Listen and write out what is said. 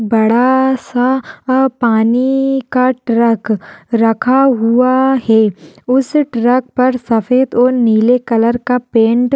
बड़ा सा पानी का ट्रक रखा हुआ है। उस ट्रक पर सफ़ेद और नीले कलर का पेंट --